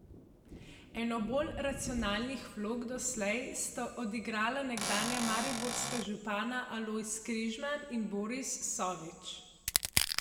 Eno bolj racionalnih vlog doslej sta odigrala nekdanja mariborska župana Alojz Križman in Boris Sovič.